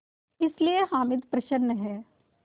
इसलिए हामिद प्रसन्न है